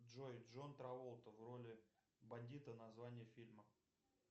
джой джон траволта в роли бандита название фильма